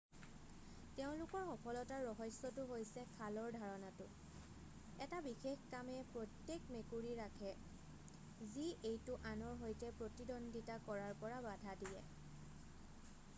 তেওঁলোকৰ সফলতাৰ ৰহস্যটো হৈছে খালৰ ধাৰণাটো এটা বিশেষ কামে প্ৰত্যেক মেকুৰী ৰাখে যি এইটো আনৰ সৈতে প্ৰতিদ্বন্দ্বিতা কৰাৰ পৰা বাধা দিয়ে৷